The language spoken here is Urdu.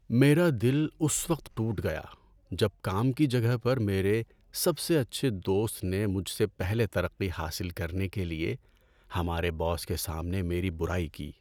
میرا دل اس وقت ٹوٹ گیا جب کام کی جگہ پر میرے سب سے اچھے دوست نے مجھ سے پہلے ترقی حاصل کرنے کے لیے ہمارے باس کے سامنے میری برائی کی۔